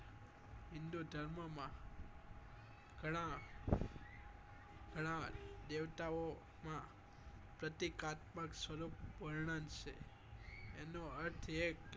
હિન્દુધર્મ માં ગણા ગણા દેવતાઓ માં પ્રતિક આત્મા સ્વરૂપ વર્ણન છેએનું અર્થ એક